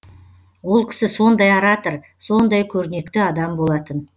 ол кісі сондай оратор сондай көрнекті адам болатын